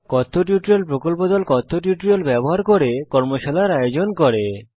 spoken tutorial প্রকল্প দল কথ্য টিউটোরিয়াল গুলি ব্যবহার করে কর্মশালার আয়োজন করে